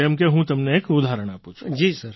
જેમ કે હું તમને એક ઉદાહરણ આપું છું